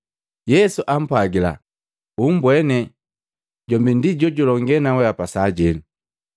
Yesu ampwagila, “Umbwene, jombi ndi jojulonge naweapa sajeno.”